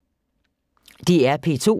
DR P2